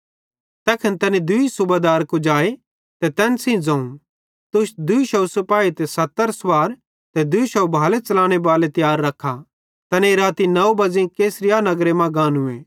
तैखन तैनी दूई सूबेदार कुजाए ते तैन सेइं ज़ोवं तुस 200 सिपाही ते 70 सुवार ते 200 भाले च़लाने बाले तियार रख्खा तैनेईं राती 9 बज़ेई कैसरिया नगरे मां गानूए